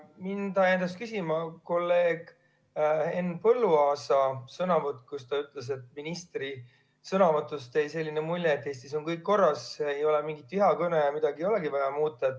Mind ajendas küsima kolleeg Henn Põlluaasa sõnavõtt, kui ta ütles, et ministri sõnavõtust jäi selline mulje, et Eestis on kõik korras, ei ole mingit vihakõnet ja midagi ei olegi vaja muuta.